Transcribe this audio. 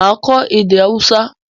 Màá kọ́ èdè Haúsá